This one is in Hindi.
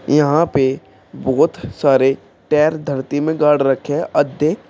यहां पे बहोत सारे टेर धरती में गाड़ रखे है अधे ।